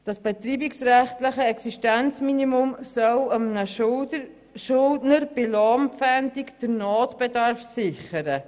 Das betreibungsrechtliche Existenzminimum soll einem Schuldner bei Lohnpfändung den Notbedarf sichern.